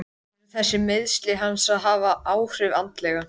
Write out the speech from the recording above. Eru þessi meiðsli hans að hafa áhrif andlega?